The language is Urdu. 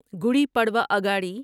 گوڑی پڑوا اگاڑی